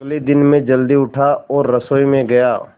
अगले दिन मैं जल्दी उठा और रसोई में गया